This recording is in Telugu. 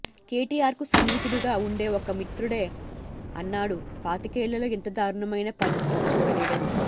కెటిఆర్కు సన్నిహితుడుగా వుండే ఒక మిత్రుడే అన్నాడు పాతికేళ్లలో ఇంత దారుణమైన పరిస్తితి చూడలేదని